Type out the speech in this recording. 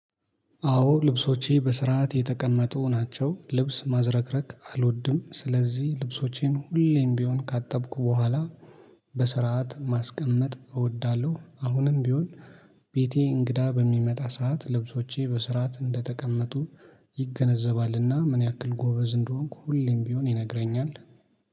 አዎ ልብሶቼ በስርዓት የተቀመጡ ናቸው ልብስ ማዝረክረክ አልወድም። ስለዚህ ልብሶቼን ሁሌም ቢሆን ካጠብኩ በኋላ በስርዓት ማስቀመጥ እወዳለሁ። አሁንም ቢሆን። ቤቴ እንግዳ በሚመጣ ሰዓት ልብሶቼ በስርዓት እንደተቀመጡ ይገነዘባልና። ምን ያክል ጎበዝ እንደሆንኩ ሁሌም ቢሆን ይነግረኛል